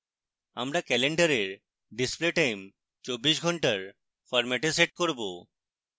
আমরা calendar display time 24 ঘন্টার ফরম্যাটে set করব